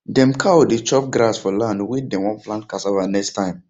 dem cow dey chop grass for land wey dem wan plant cassava next time